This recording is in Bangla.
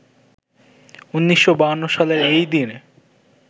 ১৯৫২ সালের এইদিনে